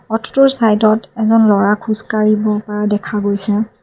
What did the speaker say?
পথটোৰ চাইড ত এজন ল'ৰা খোজকাঢ়িব পা দেখা গৈছে।